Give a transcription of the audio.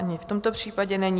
Ani v tomto případě není.